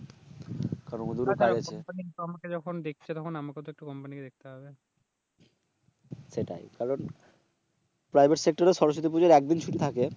private sector এ সরস্বতী পুজোর একদিন ছুটি থাকে